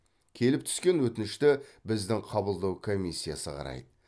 келіп түскен өтінішті біздің қабылдау комиссиясы қарайды